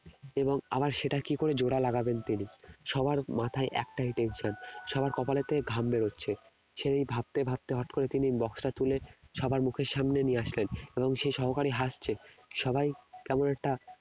এবং আবার সেটা কি করে জোড়া লাগাবেন তিনি সবার মাথায় একটাই tension সবার কপালের থেকে ঘাম বেরোচ্ছে সেই ভাবতে ভাবতে হঠাৎ করে তিনি box টা তুলে সবার মুখের সামনে নিয়ে আসলেন এবং সেই সহকারী হাসছে সবাই কেমন একটা